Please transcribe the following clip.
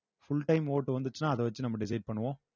full time vote வந்துச்சுன்னா அத வச்சு நம்ம decide பண்ணுவோம்